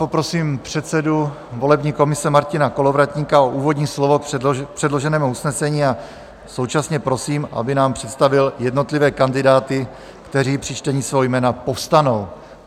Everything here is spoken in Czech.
Poprosím předsedu volební komise Martina Kolovratníka o úvodní slovo k předloženému usnesení a současně prosím, aby nám představil jednotlivé kandidáty, kteří při čtení svého jména povstanou.